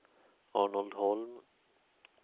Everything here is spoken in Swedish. Arnold Holm